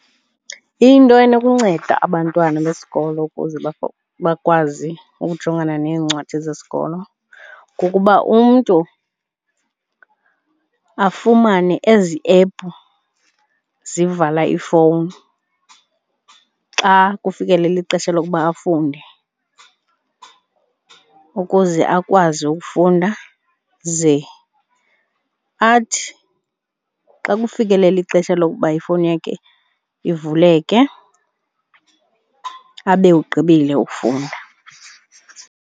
Into enokunceda abantwana besikolo ukuze bakwazi ukujongana neencwadi zesikolo kukuba umntu afumane ezi ephu zivala ifowuni xa kufikelela ixesha lokuba afunde ukuze akwazi ukufunda ze athi xa kufikelela ixesha lokuba ifowuni yakhe ivuleke, abe ugqibile ukufunda.